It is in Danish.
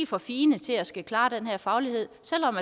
for fine til at skulle klare den her faglighed selv om